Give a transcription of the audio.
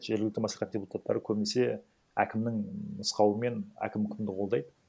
жергілікті мәслихат депутаттары көбінесе әкімнің нұсқауымен әкім кімді қолдайды